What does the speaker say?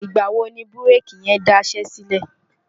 ìgbà̀ wo ni búréèkì yẹn daṣẹ́ sílẹ̀?